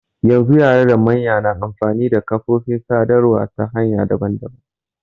Yanzu yara da manya na amfani da kafofin sadarwa ta hanya daban daban.